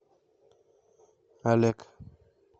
олег